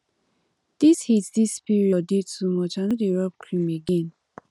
di heat dis period dey too much i no dey rob cream again